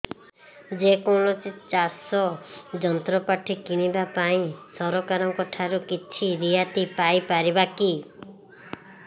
ଯେ କୌଣସି ଚାଷ ଯନ୍ତ୍ରପାତି କିଣିବା ପାଇଁ ସରକାରଙ୍କ ଠାରୁ କିଛି ରିହାତି ପାଇ ପାରିବା କି